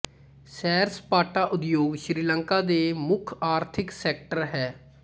ਸੈਰ ਸਪਾਟਾ ਉਦਯੋਗ ਸ੍ਰੀਲੰਕਾ ਦੇ ਮੁਖ ਆਰਥਿਕ ਸੈਕਟਰ ਹੈ